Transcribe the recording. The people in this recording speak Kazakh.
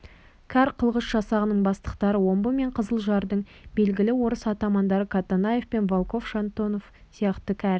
кәр қылғыш жасағының бастықтары омбы мен қызылжардың белгілі орыс атамандары катанаев пен волков шонтонов сияқты кәр